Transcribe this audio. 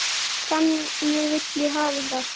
Þannig vil ég hafa það.